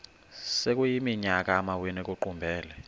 sekuyiminyaka amawenu ekuqumbele